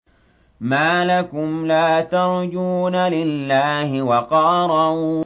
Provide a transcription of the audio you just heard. مَّا لَكُمْ لَا تَرْجُونَ لِلَّهِ وَقَارًا